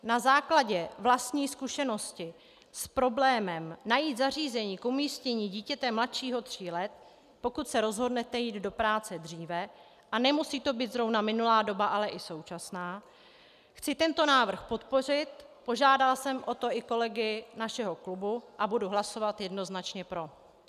Na základě vlastní zkušenosti s problémem najít zařízení k umístění dítěte mladšího tří let, pokud se rozhodnete jít do práce dříve, a nemusí to být zrovna minulá doba, ale i současná, chci tento návrh podpořit, požádala jsem o to i kolegy našeho klubu, a budu hlasovat jednoznačně pro.